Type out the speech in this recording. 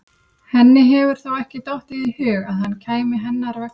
Henni hefur þó ekki dottið í hug að hann kæmi hennar vegna?